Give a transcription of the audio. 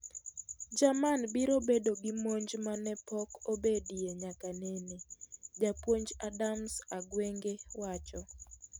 Jerman biro bedo gi monj ma ne pok obedie nyaka nene, Japuonj Adams Agwenge wacho .